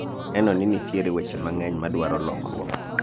aneno ni nitiere weche mang'eny madwaro lokruok